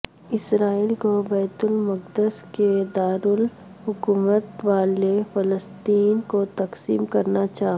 اسرائیل کو بیت المقدس کے دارالحکومت والے فلسطین کو تسلیم کرنا چا